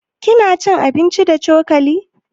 Kina cin abinci da cokali?